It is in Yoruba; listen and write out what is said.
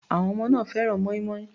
Àwọn ọmọ náà fẹ́ràn mọ́ínmọ́ín.